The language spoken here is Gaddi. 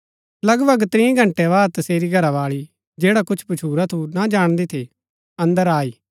लगभग त्रीं घंटै बाद तसेरी घरावाळी जैडा कुछ भच्छुरा थू ना जाणदी थी अन्दर आई